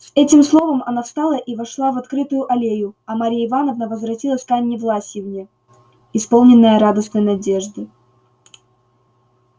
с этим словом она встала и вошла в окрытую аллею а марья ивановна возвратилась к анне власьевне исполненная радостной надежды